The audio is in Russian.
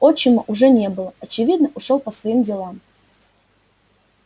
отчима уже не было очевидно ушёл по своим делам